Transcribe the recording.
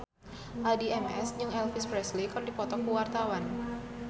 Addie MS jeung Elvis Presley keur dipoto ku wartawan